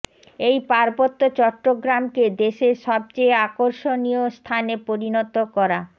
এই পার্বত্য চট্টগ্রামকে দেশের সবচেয়ে আকর্ষণীয় স্থানে পরিণত করা